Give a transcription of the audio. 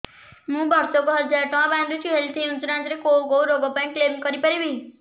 ମୁଁ ବର୍ଷ କୁ ହଜାର ଟଙ୍କା ବାନ୍ଧୁଛି ହେଲ୍ଥ ଇନ୍ସୁରାନ୍ସ ରେ କୋଉ କୋଉ ରୋଗ ପାଇଁ କ୍ଳେମ କରିପାରିବି